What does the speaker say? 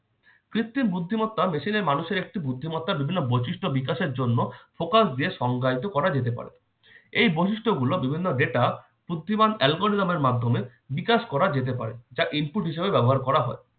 কৃত্রিম বুদ্ধিমত্তা machine এ মানুষের একটি বুদ্ধিমত্তা বিভিন্ন বৈশিষ্ট্য বিকাশের জন্য focus দিয়ে সংজ্ঞায়িত করা যেতে পারে। এই বৈশিষ্ট্যগুলো বিভিন্ন data বুদ্ধিমান algorithm এর মাধ্যমে বিকাশ করা যেতে পারে। যা input হিসেবে ব্যবহার করা হয়।